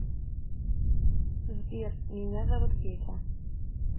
сбер меня зовут петя